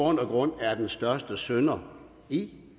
grund er den største synder i